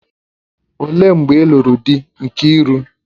Olee mgbe ị́luru dị Nkiru?